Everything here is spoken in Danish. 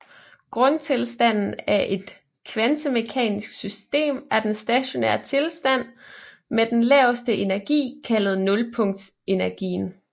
Grundtilstanden af et kvantemekanisk system er den stationære tilstand med den laveste energi kaldet nulpunktsenergien